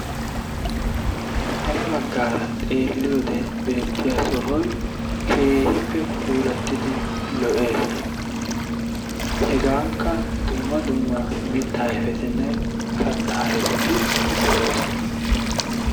ha ya bagaara xeeliyode beetiya sohoy keehippe puulatidi lo'ees. hegankka dumma dumma mitaa ayfeti kataa ayfeti de'oosona.